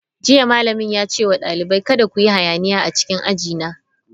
Jiya malamin ya ce wa dalibai, kada ku yi hayaniya a cikin aji na!